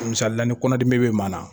Misalila ni kɔndimi bɛ maa na.